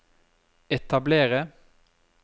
etablere